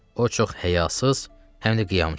O çox həyasız, həm də qiyamçıdır.